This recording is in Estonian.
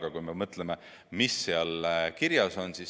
Aga mõtleme, mis seal kirjas on.